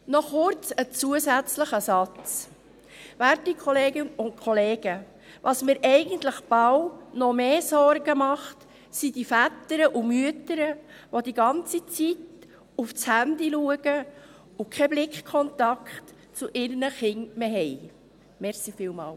Noch kurz ein zusätzlicher Satz: Werte Kolleginnen und Kollegen, was mir eigentlich fast noch mehr Sorgen macht, sind die Väter und Mütter, welche die ganze Zeit aufs Handy schauen und keinen Blickkontakt zu ihren Kindern mehr haben.